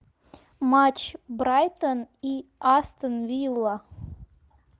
матч брайтон и астон вилла